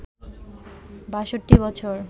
৬২ বছর